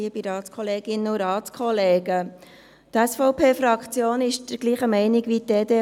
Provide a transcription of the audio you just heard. Die SVP-Fraktion ist gleicher Meinung wie die EDU.